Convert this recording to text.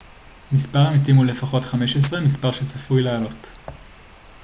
מספר המתים הוא לפחות 15 מספר שצפוי לעלות